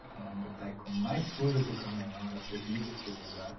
Era um boteco mais sujo que o camelão, era terrível aquele lugar.